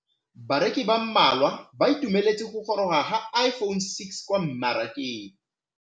Bareki ba ba malwa ba ituemeletse go gôrôga ga Iphone6 kwa mmarakeng.